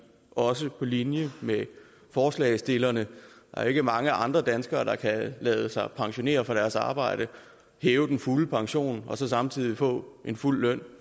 også på linje med forslagsstillerne der er ikke mange andre danskere der kan lade sig pensionere fra deres arbejde hæve den fulde pension og samtidig få fuld løn